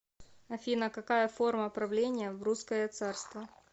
афина какая форма правления в русское царство